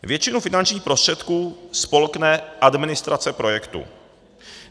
Většinu finančních prostředků spolkne administrace projektu.